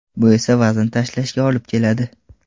Bu esa vazn tashlashga olib keladi.